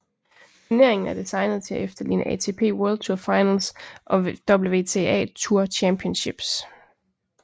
Turneringen er designet til at efterligne ATP World Tour Finals og WTA Tour Championships